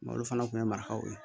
olu fana kun ye marakaw ye